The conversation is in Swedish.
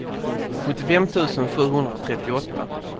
sjuttiofem tusen sjuhundratrettioåtta